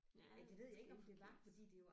Ja ja den elsker at få kiks